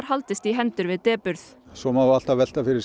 haldist í hendur við depurð svo má alltaf velta fyrir